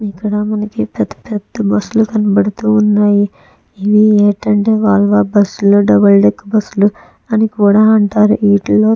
ఇక్కడ మనకి పెద్ద పెద్ద బస్సు లు కనపడుతున్నాయి. ఇవి ఏంటి అంటే వోల్వో బస్సు లు డబల్ డెక్కెర్ బస్సు లు కూడా అంటారు. వీటిలో --